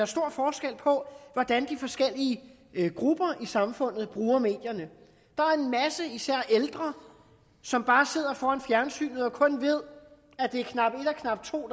stor forskel på hvordan de forskellige grupper i samfundet bruger medierne der er en masse især ældre som bare sidder foran fjernsynet og kun ved at det er knap et og knap to